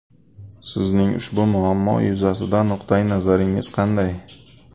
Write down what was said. Sizning ushbu muammo yuzasidan nuqtai nazaringiz qanday?